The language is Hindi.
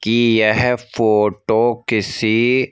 की यह फोटो किसी--